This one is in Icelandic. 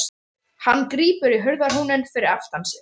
Hann grípur í hurðarhúninn fyrir aftan sig.